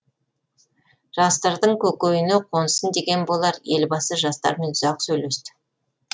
жастардың көкейіне қонсын деген болар елбасы жастармен ұзақ сөйлесті